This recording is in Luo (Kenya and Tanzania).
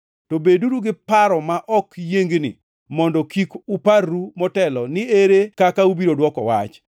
To beduru gi paro ma ok yiengni mondo kik uparru motelo ni ere kaka ubiro dwoko wach.